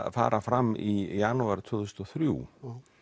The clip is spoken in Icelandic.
að fara fram í janúar tvö þúsund og þrjú